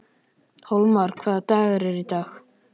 Hólmar, hvaða dagur er í dag?